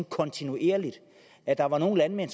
kontinuerligt og at der var nogle landmænd